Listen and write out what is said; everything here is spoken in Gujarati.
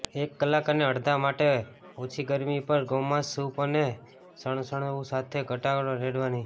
એક કલાક અને અડધા માટે ઓછી ગરમી પર ગોમાંસ સૂપ અને સણસણવું સાથે ઘટકો રેડવાની